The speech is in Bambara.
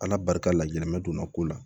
Ala barika la gɛlɛmɛ donna ko la